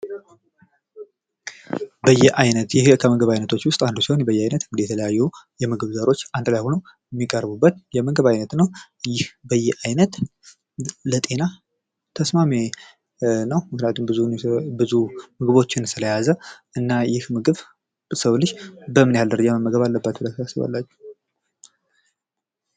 በየአይነት ይህ ከምግብ አይነት አንድ ሲሆን በያይነት የተለያዩ የምግብ ዘሮች አንድ ላይ ሆኖ የሚቀርቡበት የምግብ አይነት ነው ይህ በየአይነት ለጤና ተስማሚ ምክንያቱም ብዙ ምግቦችን ስለያዘ ይህን ምግብ የሰው ልጅ በምን ያህል ደረጃ መመገብ አለበት ብላችሁ ታስባላችሁ?